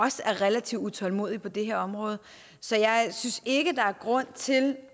også er relativt utålmodige på det her område så jeg synes ikke der er grund til